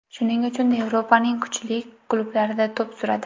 Shuning uchun Yevropaning kuchli klublarida to‘p suradi.